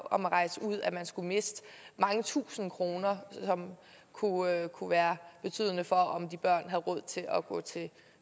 om at rejse ud at man skulle miste mange tusinde kroner som kunne være kunne være betydende for om de børn havde råd til at gå til